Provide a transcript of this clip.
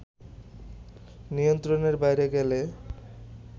নিয়ন্ত্রণের বাইরে গেলে